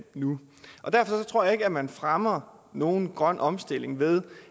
nu derfor tror jeg ikke man fremmer nogen grøn omstilling ved